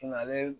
ale